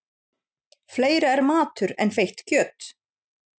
Fleira er matur en feitt kjöt.